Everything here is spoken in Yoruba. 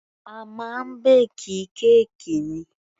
A máa ń bake kéèkì ni.